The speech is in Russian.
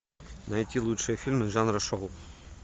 найти лучшие фильмы жанра шоу